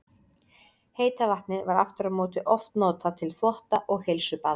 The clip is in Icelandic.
Heita vatnið var aftur á móti oft notað til þvotta og heilsubaða.